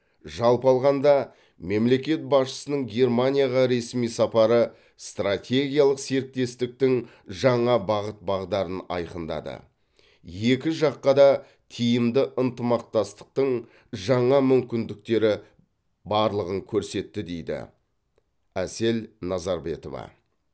жалпы алғанда мемлекет басшысының германияға ресми сапары стратегиялық серіктестіктің жаңа бағыт бағдарын айқындады екі жаққа да тиімді ынтымақтастың жаңа мүмкіндіктері барлығын көрсетті дейді әсел назарбетова